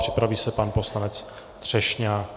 Připraví se pan poslanec Třešňák.